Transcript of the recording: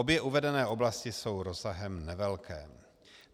Obě uvedené oblasti jsou rozsahem nevelké.